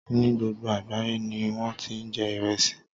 Ní gbogbo àgbáyé ni wón ti ń jẹ Ìresì.